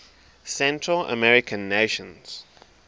central american nations